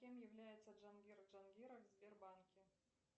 кем является джангир джангиров в сбербанке